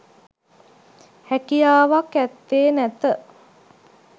හැකියාවක් ඇත්තේ නැත.